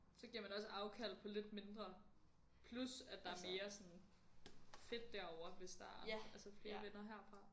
Så giver man også afkald på lidt mindre plus at der er mere sådan fedt derovre hvis der er altså flere venner herfra